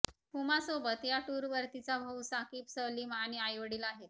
हुमासोबत या टूरवर तिचा भाऊ साकीब सलीम आणि आईवडील आहेत